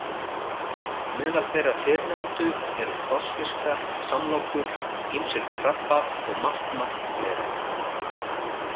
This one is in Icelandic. Meðal þeirra fyrrnefndu eru krossfiskar, samlokur, ýmsir krabbar og margt, margt fleira.